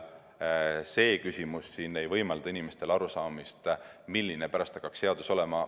See küsimus siin ei võimalda inimestel aru saada, milline hakkaks pärast seadus olema.